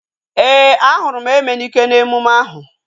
Ee, a hụrụ m Emenike n'emume ahu